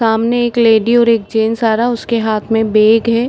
सामने एक लेडी और एक जेंट्स आ रहा उसके हाथ में बैग है ।